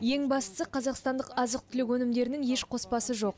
ең бастысы қазақстандық азық түлік өнімдерінің еш қоспасы жоқ